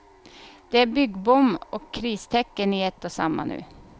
Det är byggboom och kristecken i ett och samma nu.